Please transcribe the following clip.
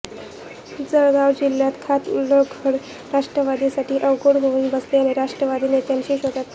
जळगाव जिल्ह्यात खात उघडणं राष्ट्रवादीसाठी अवघड होऊन बसल्याने राष्ट्रवादी नेत्यांच्या शोधात आहे